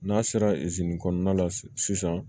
N'a sera kɔnɔna la sisan